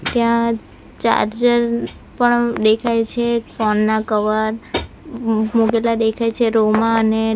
ત્યાં ચાર્જર પણ દેખાય છે ફોન ના કવર મુ મુકેલા દેખાય છે રૂમમાં અને --